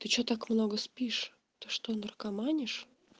ты что так много спишь то что наркоманишь